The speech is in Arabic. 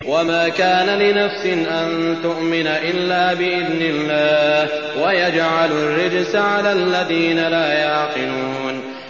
وَمَا كَانَ لِنَفْسٍ أَن تُؤْمِنَ إِلَّا بِإِذْنِ اللَّهِ ۚ وَيَجْعَلُ الرِّجْسَ عَلَى الَّذِينَ لَا يَعْقِلُونَ